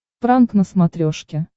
пранк на смотрешке